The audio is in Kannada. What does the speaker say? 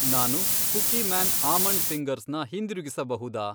ನಾನು ಕುಕೀಮ್ಯಾನ್ ಆಮಂಡ್ ಫಿ಼ಂಗರ್ಸ್ ನ ಹಿಂದಿರುಗಿಸಬಹುದಾ?